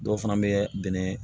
Dɔw fana bɛ bɛnɛ